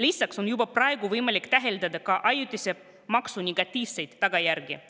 Lisaks on juba praegu võimalik täheldada ajutise maksu negatiivseid tagajärgi.